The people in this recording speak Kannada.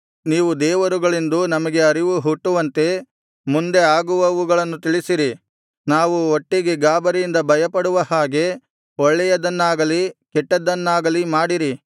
ನೀವು ದೇವರುಗಳೆಂದು ನಮಗೆ ಅರಿವು ಹುಟ್ಟುವಂತೆ ಮುಂದೆ ಆಗುವವುಗಳನ್ನು ತಿಳಿಸಿರಿ ನಾವು ಒಟ್ಟಿಗೆ ಗಾಬರಿಯಿಂದ ಭಯಪಡುವ ಹಾಗೆ ಒಳ್ಳೆಯದನ್ನಾಗಲಿ ಕೆಟ್ಟದ್ದನ್ನಾಗಲಿ ಮಾಡಿರಿ